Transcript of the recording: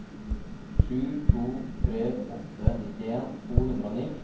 sju to tre åtte nittien to hundre og ni